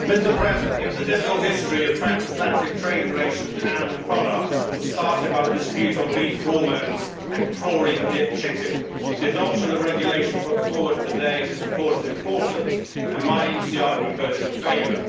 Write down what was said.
Mr President, given the difficult history of transatlantic trade relations in animal products that was started by the dispute on beef hormones and chlorine dipped chicken, the adoption of the regulation put forward today in this report is important and my ECR Group voted in favour.